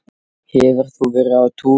Hefur þú verið á túr?